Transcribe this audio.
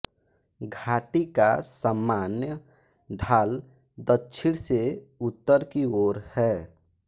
घाटी का सामान्य ढाल दक्षिण से उत्तर की ओर है